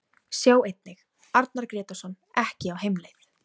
Sjá einnig: Arnar Grétarsson ekki á heimleið